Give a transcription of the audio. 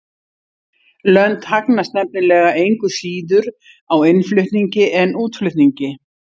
Lönd hagnast nefnilega engu síður á innflutningi en útflutningi.